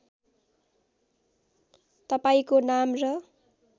तपाईँंको नाम र